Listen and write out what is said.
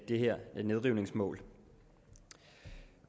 det her nedrivningsmål